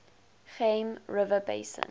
geum river basin